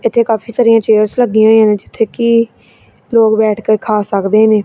ਇਥੇ ਕਾਫੀ ਸਾਰੀਆਂ ਚੇਅਰਸ ਵੀ ਜਿੱਥੇ ਕਿ ਲੋਕ ਬੈਠ ਕੇ ਖਾ ਸਕਦੇ ਨੇ।